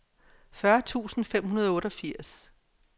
fyrre tusind fem hundrede og otteogfirs